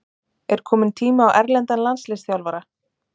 Er kominn tími á erlendan landsliðsþjálfara?